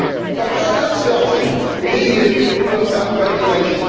But how about starting with EU overregulation?